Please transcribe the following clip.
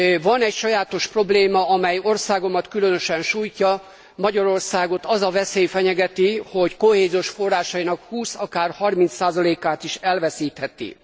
Van egy sajátos probléma, amely országomat különösen sújtja Magyarországot az a veszély fenyegeti, hogy kohéziós forrásainak 20, akár 30 át is elveszítheti.